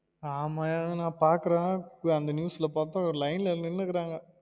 ஆமா யா நா பாக்குறேன் அந்த news ல பாத்தா ஒரு line ல நின்னு இருகாங்க